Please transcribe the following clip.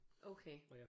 Okay